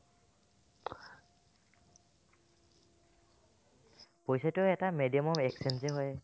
পইচাটো এটা media of exchange য়ে হয়